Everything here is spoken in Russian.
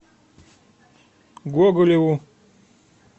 гоголеву